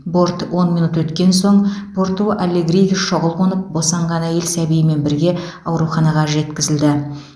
борт он минут өткен соң порту алегриге шұғыл қонып босанған әйел сәбиімен бірге ауруханаға жеткізілді